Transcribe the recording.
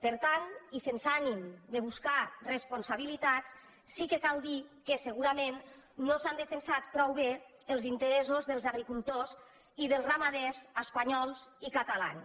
per tant i sense ànim de buscar responsabilitats sí que cal dir que segurament no s’han defensat prou bé els interessos dels agricultors i dels ramaders espanyols i catalans